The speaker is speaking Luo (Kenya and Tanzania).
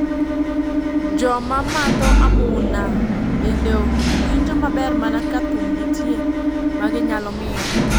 Joma madho amumna bende winjo maber mana ka thum nitie ma gi nyalo mielo.